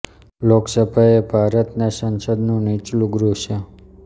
લોકસભા એ ભારત ના સંસદ નું નીચલું ગૃહ છે